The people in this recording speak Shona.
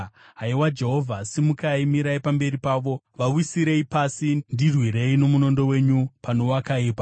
Haiwa, Jehovha, simukai, mirai pamberi pavo, vawisirei pasi; ndirwirei nomunondo wenyu pano wakaipa.